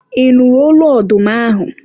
ị nụrụ olu ọdụm ahụ?